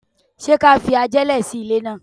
Ṣé ká fi ajẹ́lẹ̀ sí ilè náà?